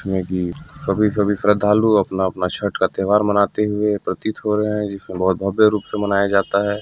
--में भी सभी-सभी श्रदालु अपना-अपना छठ का त्योहार मनाते हुए प्रतीत हो रहे है जिसे बहुत भव्य रूप से मनाया जाता है।